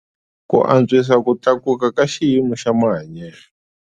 Ku antswisa ku tlakuka ka xiyimo xa mahanyelo.